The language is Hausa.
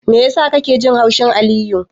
Me yasa kake jin haushin Aliyu?